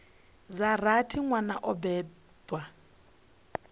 dza rathi nwana o bebwa